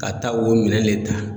Ka taa o minɛn le ta.